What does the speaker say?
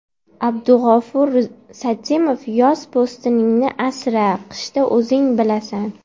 Abdugafur Satimov Yoz po‘stiningni asra, qishda o‘zing bilasan.